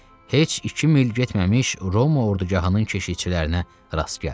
Heç iki mil getməmiş Roma ordugahının keşikçilərinə rast gəldi.